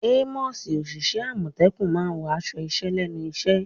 Àwọn òṣìṣẹ́ àmọ̀tẹ́kùn máa wọ aṣọ iṣẹ́ lẹ́nu iṣẹ́.